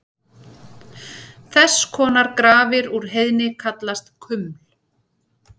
Þess konar grafir úr heiðni kallast kuml.